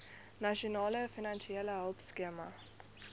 nasionale finansiële hulpskema